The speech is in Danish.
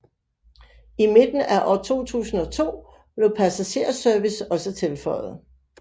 I midten af år 2002 blev passagerservice også tilføjet